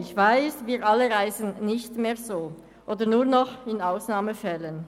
Ich weiss, dass wir alle nur ausnahmsweise so reisen.